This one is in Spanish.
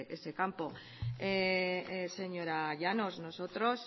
ese campo señora llanos nosotros